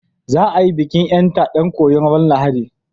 Za a yi bikin ƴanta ɗan koyon ran Lahadi